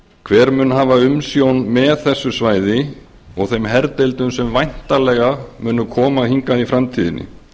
hver mun hafa umsjón með þessu svæði og þeim herdeildum sem væntanlega munu koma hingað í framtíðinni